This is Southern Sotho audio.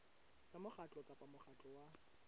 tsa mokgatlo kapa mokgatlo wa